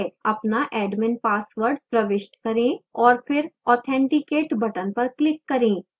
अपना admin password प्रविष्ट करें और फिर authenticate button पर click करें